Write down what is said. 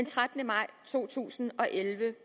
trettende maj 2011